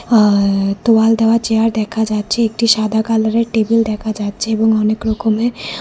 আ তোয়াল দেওয়া চেয়ার দেখা যাচ্ছে একটি সাদা কালারের টেবিল দেখা যাচ্ছে এবং অনেক রকমের।